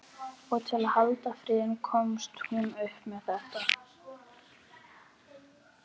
Og til að halda friðinn komst hún upp með þetta.